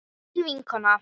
Þín vinkona